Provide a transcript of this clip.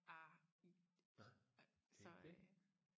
ah i så øh